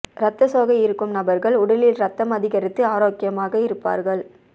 இரத்த சோகை இருக்கும் நபர்கள் உடலில் இரத்தம் அதிகரித்து ஆரோக்கியமாக இருப்பார்கள்